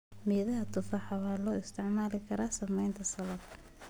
Midhaha tufaaxa waxaa loo isticmaali karaa sameynta salad.